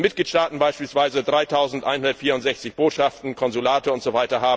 Wenn Mitgliedstaaten beispielsweise 3164 Botschaften, Konsulate usw.